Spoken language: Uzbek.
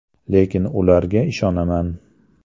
Lekin ularga ishonaman.